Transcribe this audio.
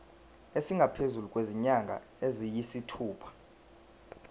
esingaphezu kwezinyanga eziyisithupha